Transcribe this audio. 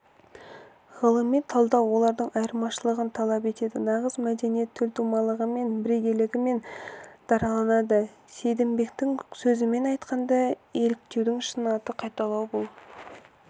ғылыми талдау олардың айырмашылығын талап етеді нағыз мәдениет төлтумалығымен бірегейлілігімен дараланады сейдімбектің сөзімен айтқанда еліктеудің шын аты қайталау бұл